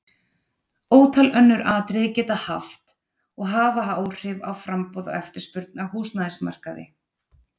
Ótal önnur atriði geta haft og hafa áhrif á framboð og eftirspurn á húsnæðismarkaði.